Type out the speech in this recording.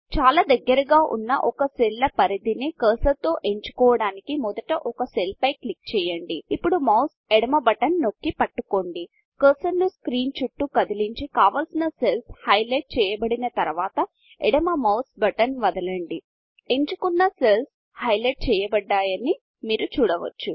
చాలా దగ్గరగా ఉన్న ఒక సెల్ల పరిధి ని కర్సర్ తో ఎంచుకోడానికి మొదట ఒక సెల్ పై క్లిక్ చేయండి ఇప్పుడు మౌస్ ఎడమ బటన్ నొక్కి పట్టుకోండి కర్సర్ ను స్క్రీన్ చుట్టూ కదిలించి కావలసిన సెల్ల్స్ హైలైట్ చేయబడిన తరువాత ఎడమ మౌస్ బటన్ వదలండి ఎంచుకున్న సెల్స్ హైలైట్ చెయ్యబడ్డాయని మీరు చూడవచ్చు